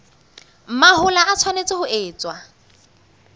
mahola e tshwanetse ho etswa